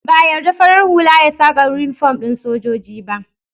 Ba a yarda farar hula ya saka inifom ɗin sojoji ba